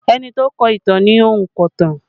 Ẹni tó kọ ìtàn ni ònkọ̀tan